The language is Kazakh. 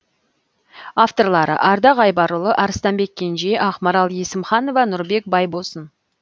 авторлары ардақ айбарұлы арыстанбек кенже ақмарал есімханова нұрбек байбосын